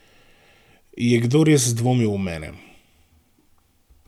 Je kdo res dvomil v mene?